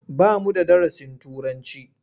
Ba mu da darasin Turanci.